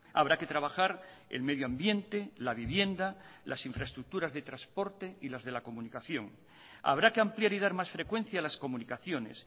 habrá que trabajar el medio ambiente la vivienda las infraestructuras de transporte y las de la comunicación habrá que ampliar y dar más frecuencia a las comunicaciones